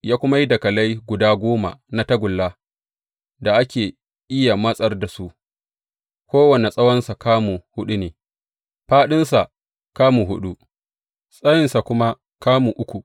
Ya kuma yi dakalai guda goma na tagulla da ake iya matsar da su; kowane tsawonsa kamu huɗu ne, fāɗinsa kamu huɗu, tsayinsa kuma kamu uku.